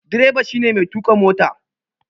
Direba shi ne mai tuƙa mota